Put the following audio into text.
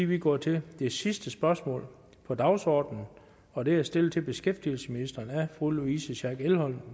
vi går til det sidste spørgsmål på dagsordenen og det er stillet til beskæftigelsesministeren af fru louise schack elholm